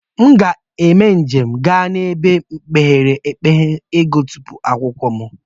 Mụ ga eme njem ga n'ebe mepere emepe igụtọpu akwụkwọ m.